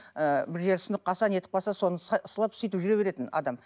ы бір жері сынып қалса нетіп қалса соны сылап сөйтіп жүре беретін адам